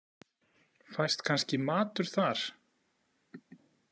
Fæst kannski matur þar?